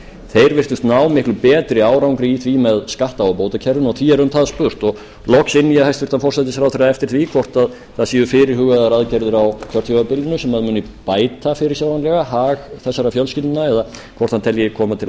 þeir virtust ná miklu betri árangri í því með skatta og bótakerfum og því er um það spurt loks inni ég hæstvirtan forsætisráðherra eftir því hvort fyrirhugaðar séu aðgerðir á kjörtímabilinu sem muni bæta fyrirsjáanlega hag þessara fjölskyldna eða hvort hann telji koma til